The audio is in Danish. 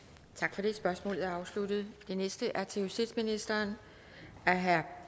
tak for det spørgsmålet er afsluttet det næste spørgsmål er til justitsministeren af herre